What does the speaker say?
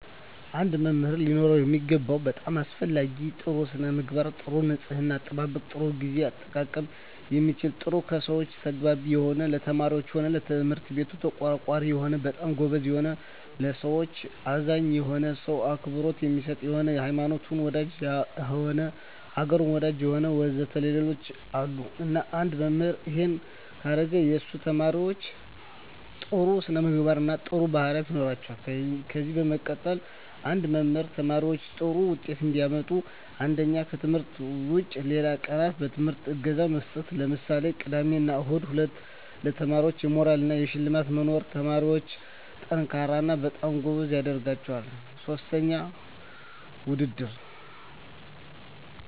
አንድ መምህር ሊኖረው የሚገባው በጣም አሰፈላጊ ነገር ጥሩ ስነምግባር ጥሩ ንጽሕና አጠባበቅ ጥሩ ግዜ አጠቃቀም የሚችል ጥሩ ከሰው ጋር ተግባቢ የሆነ ለተማሪዎች ሆነ ለትምህርት ቤቱ ተቆርቋሪ የሆነ በጣም ጎበዝ የሆነ ለሠዎች አዛኝ የሆነ ሰው አክብሮት የሚሰጥ የሆነ ሀይማኖት ወዳጅ የሆነ አገሩን ወዳጅ የሆነ ወዘተ ሌሎችም አሉ እና አንድ መምህራን እሄን ካረገ የሱ ተመራማሪዎች ጥሩ ስነምግባር ጥሩ ባህሪያት ይኖራቸዋል ከዚ በመቀጠል አንድ መምህር ተማሪዎች ጥሩ ውጤት እንዲያመጡ አንደኛ ከትምህርት ውጭ ሌላ ቀናት በትምህርታቸው እገዛ መስጠት ለምሳሌ ቅዳሜ እሁድ ሁለተኛ ለተማሪዎች የሞራል እና የሽልማት መኖር ተማሪዎች &ጠንካራ እና በጣም ጎበዝ ያደረጋቸዋል ሥስተኛ ውድድር